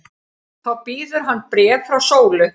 Þá bíður hans bréf frá Sólu.